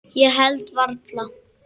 Ég held varla.